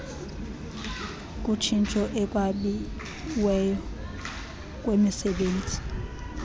kutshintsho ekwabiweni kwemisebenzi